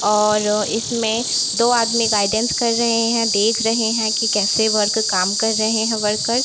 और इसमें दो आदमी गाइडेंस कर रहें हैं देख रहें हैं की कैसे वर्क काम कर रहें हैं वर्कर ।